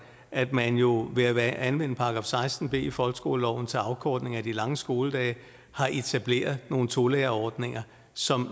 at man jo ved at anvende § seksten b i folkeskoleloven til afkortning af de lange skoledage har etableret nogle tolærerordninger som